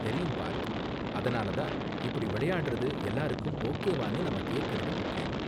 தெரியும் பார்த், அதனால தான் இப்படி விளையாடுறது எல்லாருக்கும் ஓகேவானு நாம கேக்கறது முக்கியம்.